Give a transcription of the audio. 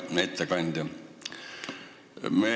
Hea ettekandja!